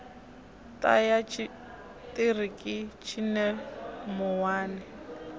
ṱa ya tshiṱiriki tshine muwani